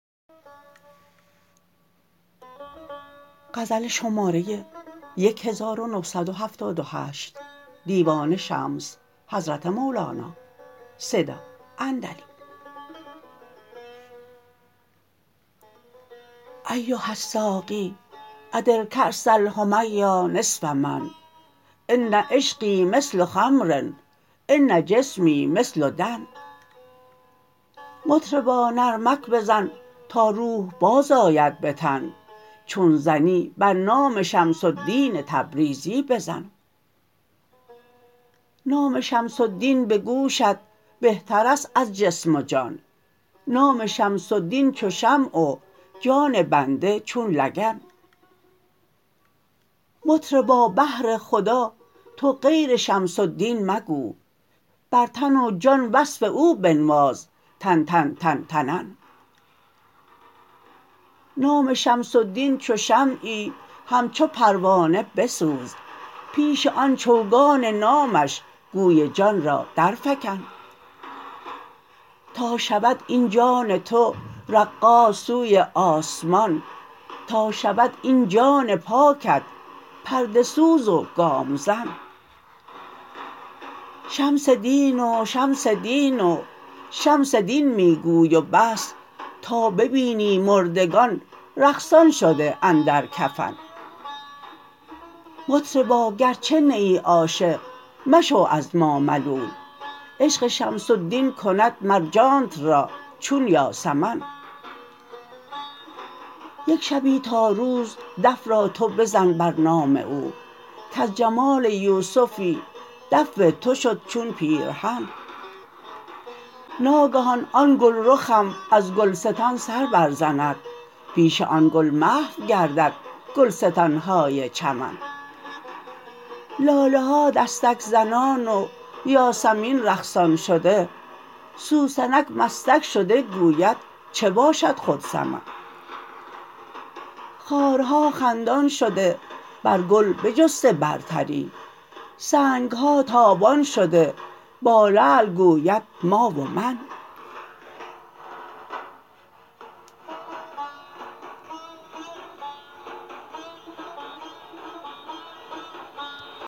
ایها الساقی ادر کأس الحمیا نصف من ان عشقی مثل خمر ان جسمی مثل دن مطربا نرمک بزن تا روح بازآید به تن چون زنی بر نام شمس الدین تبریزی بزن نام شمس الدین به گوشت بهتر است از جسم و جان نام شمس الدین چو شمع و جان بنده چون لگن مطربا بهر خدا تو غیر شمس الدین مگو بر تن و جان وصف او بنواز تن تن تن تنن نام شمس الدین چو شمعی همچو پروانه بسوز پیش آن چوگان نامش گوی جان را درفکن تا شود این جان تو رقاص سوی آسمان تا شود این جان پاکت پرده سوز و گام زن شمس دین و شمس دین و شمس دین می گو و بس تا ببینی مردگان رقصان شده اندر کفن مطربا گرچه نیی عاشق مشو از ما ملول عشق شمس الدین کند مر جانت را چون یاسمن یک شبی تا روز دف را تو بزن بر نام او کز جمال یوسفی دف تو شد چون پیرهن ناگهان آن گلرخم از گلستان سر برزند پیش آن گل محو گردد گلستان های چمن لاله ها دستک زنان و یاسمین رقصان شده سوسنک مستک شده گوید چه باشد خود سمن خارها خندان شده بر گل بجسته برتری سنگ ها تابان شده با لعل گوید ما و من